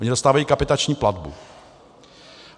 Oni dostávají kapitační platbu.